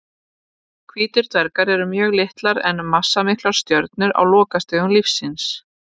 Hvítir dvergar eru mjög litlar en massamiklar stjörnur á lokastigum lífs síns.